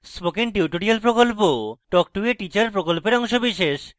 spoken tutorial প্রকল্প talk to a teacher প্রকল্পের অংশবিশেষ